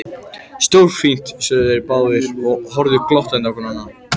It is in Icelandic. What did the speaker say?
Stórfínt sögðu þeir báðir og horfðu glottandi hvor á annan.